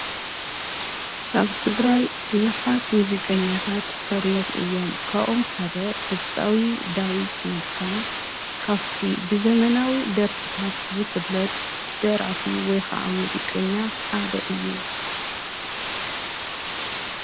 ካብ ትግራይ ብዙኃት ሙዚቀኛታት ፈርዮም እዮም ካብአቶም ሓደ ድብጻዊ ዳዊት ነጋ ካብቲ ብዘመናዊ ደርፍታት ዝፍለጥ ደራፊ ወይኸዓ ሙዚቀኛ ሓደ እዩ፡፡